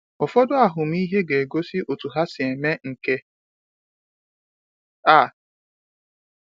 Ụfọdụ ahụmịhe ga-egosi otú ha si eme nke a.